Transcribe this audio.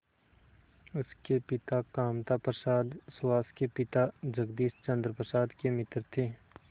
उसके पिता कामता प्रसाद सुहास के पिता जगदीश चंद्र प्रसाद के मित्र थे